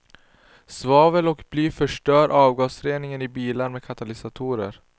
Svavel och bly förstör avgasreningen i bilar med katalysator.